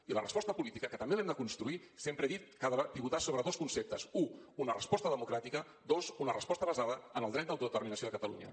i la resposta política que també l’hem de construir sempre he dit que ha de pivotar sobre dos conceptes u una resposta democràtica dos una resposta basada en el dret d’autodeterminació de catalunya